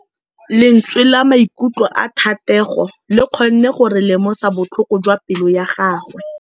Lentswe la maikutlo a Thategô le kgonne gore re lemosa botlhoko jwa pelô ya gagwe.